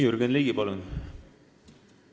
Jürgen Ligi, palun!